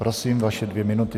Prosím vaše dvě minuty.